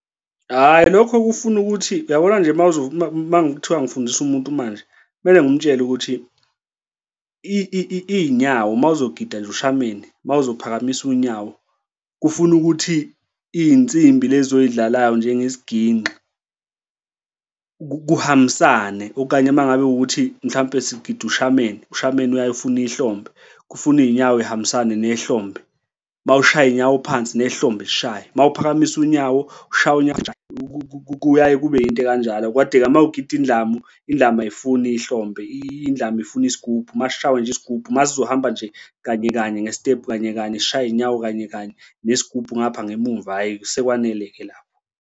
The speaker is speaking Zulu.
Hhayi, lokho kufuna ukuthi uyabona nje uma kuthiwa ngifundisa umuntu manje kumele ngimtshele ukuthi iy'nyawo uma uzogida nje ushameni uma uzophakamisa unyawo kufuna ukuthi iy'nsimbi lezi oy'dlalayo njengesiginci kuhambisane okanye uma ngabe kuwukuthi mhlampe sigida ushameni, ushameni uyaye ufune ihlombe kufuna iy'nyawo y'hambisane nehlomphe uma ushaya iy'nyawo phansi nehlombe lishaye, uma uphakamise unyawo ushay'we unyawo kuyaye kube into ekanjalo. Kodwa-ke uma ugida indlamu, indlamu ayifuni ihlombe, indlamu ifuna isigubhu uma sishawa nje isigubhu masizohamba nje kanye kanye ngesitebhu kanye kanye sishaye iy'nyawo kanye kanye nesigubhu ngapha ngemumva hhayi, sekwanele-ke lapho.